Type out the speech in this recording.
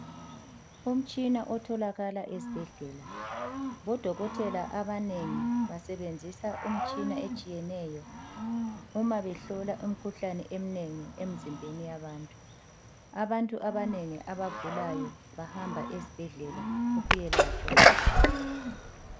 Umtshina otholakala esbhedlela. Bodokotela abanengi basebenzisa umtshina etshiyeneyo, uma behlola imkhuhlane emnengi emzimbeni yabantu. Abantu abanengi abagulayo, bahamba esbhedlela ukuyelatshwa.